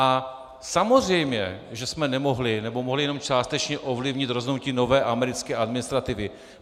A samozřejmě že jsme nemohli, nebo mohli jenom částečně ovlivnit rozhodnutí nové americké administrativy.